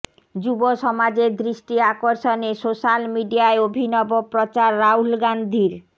যুব সমাজের দৃষ্টি আকর্ষণে সোশ্যাল মিডিয়ায় অভিনব প্রচার রাহুল গান্ধীর